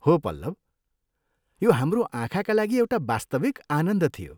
हो पल्लव! यो हाम्रो आँखाका लागि एउटा वास्तविक आनन्द थियो।